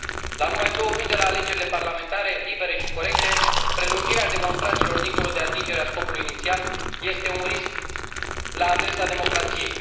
La numai două luni de la alegerile parlamentare libere și corecte, prelungirea demonstrațiilor, dincolo de atingerea scopului inițial, este un risc la adresa democrației.